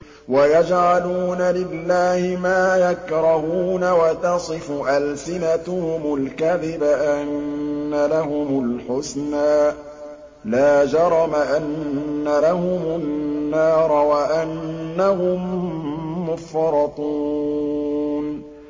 وَيَجْعَلُونَ لِلَّهِ مَا يَكْرَهُونَ وَتَصِفُ أَلْسِنَتُهُمُ الْكَذِبَ أَنَّ لَهُمُ الْحُسْنَىٰ ۖ لَا جَرَمَ أَنَّ لَهُمُ النَّارَ وَأَنَّهُم مُّفْرَطُونَ